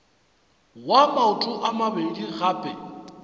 wa maoto a mabedi gape